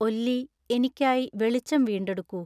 ഒല്ലി എനിക്കായി വെളിച്ചം വീണ്ടെടുക്കൂ